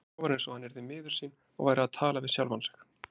Svo var eins og hann yrði miður sín og væri að tala við sjálfan sig.